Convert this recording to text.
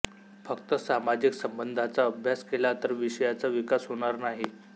फक्त सामाजिक संबंधाचा अभ्यास केला तर विषयाचा विकास होणार नाही